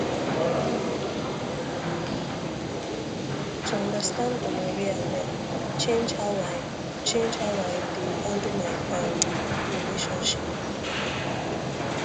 to understand gonorrhea well change how i change how i dey handle my um relationship